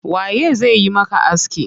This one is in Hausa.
Waye zai yi maka aski?